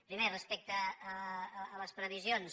primer respecte a les previsions